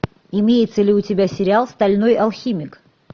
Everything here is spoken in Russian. имеется ли у тебя сериал стальной алхимик